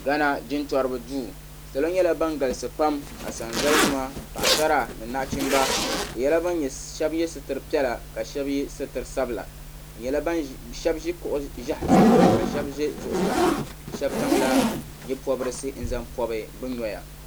Ghana jintori duu salo nyɛla ban galisi pam Asanzalinima paɣ'sara ni naɣichimba shɛba ye sitiri piɛla ka shɛba ye zaɣ'sabila shɛba ʒi kuɣ'ʒɛhi zuɣu ka shɛba ʒe zuɣusaa shɛba zaŋla nye'pɔbirisi n-zaŋ pɔbi bɛ noya.